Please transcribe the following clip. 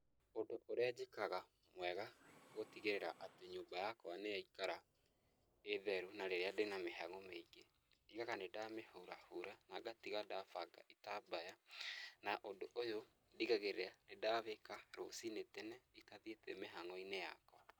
Ũndũ ũrĩa njĩkaga mwega gũtigĩrĩra atĩ nyũmba yakwa nĩ yaikara ĩ theru, na rĩrĩa ndĩna mĩhang'o mĩingĩ, ndigaga nĩ nda mĩhurahura, na ngatiga ndabanga itambaya, na ũndũ ũyũ, ndigagĩrĩra nĩ ndawĩka rũcinĩ tene, itathiĩte mihango-inĩ yakwa.